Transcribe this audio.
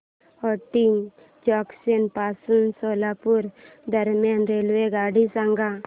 Hotgi junction पासून सोलापूर दरम्यान रेल्वेगाडी सांगा